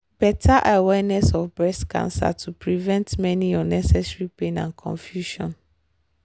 better awareness of breast cancer to prevent many unnecessary pain and confusion.